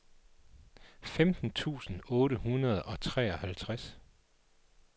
femten tusind otte hundrede og treoghalvtreds